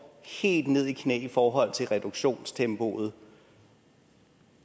helt ned i knæ i forhold til reduktionstempoet